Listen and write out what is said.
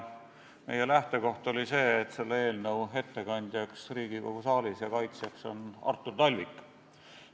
Meie lähtekoht oli, et selle ettekandjaks ja kaitsjaks Riigikogu saalis on Artur Talvik.